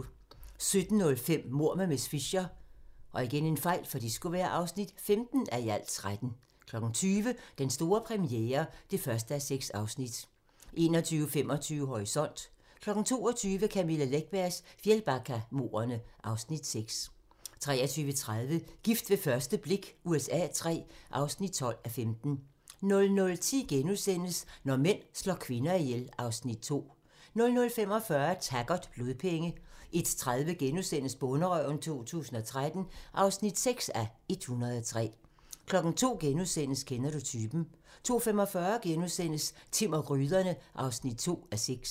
17:05: Mord med miss Fisher (15:13) 20:00: Den store premiere (1:6) 21:25: Horisont (tir) 22:00: Camilla Läckbergs Fjällbackamordene (Afs. 6) 23:30: Gift ved første blik USA III (12:15) 00:10: Når mænd slår kvinder ihjel (Afs. 2)* 00:45: Taggart: Blodpenge 01:30: Bonderøven 2013 (6:103)* 02:00: Kender du typen? * 02:45: Timm og gryderne (2:6)*